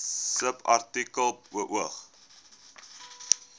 subartikel beoog